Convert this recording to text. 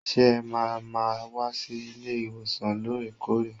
Ṣé ẹ ma lè máa wá sí ilé ìwòsàn loore-koore.